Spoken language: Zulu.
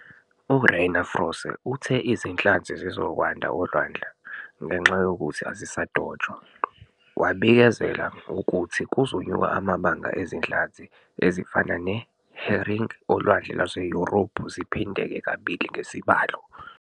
U-Rainer Froese uthe izinhlanzi zizokwanda olwandle ngenxa yokuthi azisadotshwa, wabikezela ukuthi kuzonyuka amabanga ezinhlanzi ezifana ne- herring olwandle lwase Yurophu ziphindeke kabili ngesibalo.